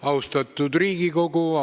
Lugupeetud Riigikogu!